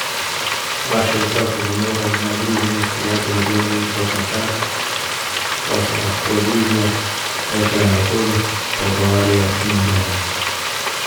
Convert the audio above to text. Vaši otroci bi morali na druženje s prijatelji gledati kot na čas, ko se lahko družijo, tečejo naokoli, pogovarjajo in igrajo.